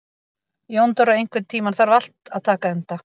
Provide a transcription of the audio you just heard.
Jóndóra, einhvern tímann þarf allt að taka enda.